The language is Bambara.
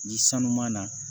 Ni sanu ma na